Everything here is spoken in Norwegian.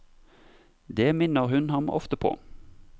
Det minner hun ham ofte på.